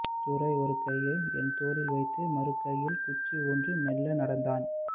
துரை ஒரு கையை என் தோளில் வைத்து மறுகையில் குச்சி ஊன்றி மெல்ல நடந்தான்